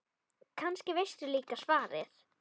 Kannski veistu líka svarið.